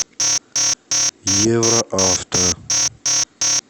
евроавто